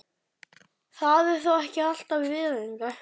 Það er þó ekki alltaf viðeigandi.